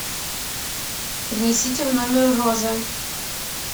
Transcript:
принесите в номер розы